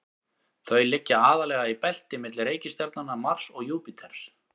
þau liggja aðallega í belti milli reikistjarnanna mars og júpíters